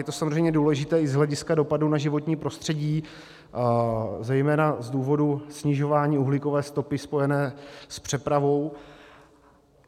Je to samozřejmě důležité i z hlediska dopadů na životní prostředí, zejména z důvodu snižování uhlíkové stopy spojené s přepravou.